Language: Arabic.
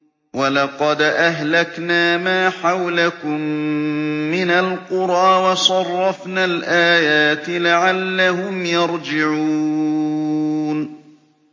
وَلَقَدْ أَهْلَكْنَا مَا حَوْلَكُم مِّنَ الْقُرَىٰ وَصَرَّفْنَا الْآيَاتِ لَعَلَّهُمْ يَرْجِعُونَ